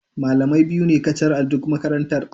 Malamai biyu ne kacal a duk makarantar.